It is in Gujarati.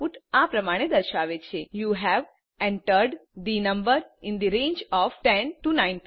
આઉટપુટ આ પ્રમાણે દર્શાવે છે યુ હવે entered the number in the range of 10 19